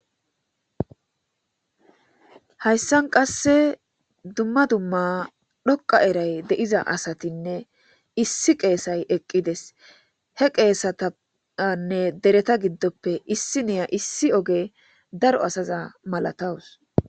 hayssan qasse dumma dumma dhoqa eray de'iza asatinne issi qeesay eqqides he qeesatanne dereta giddoppe issi niya issi oge daro asaza malatawus